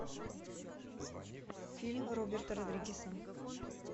фильм роберта родригеса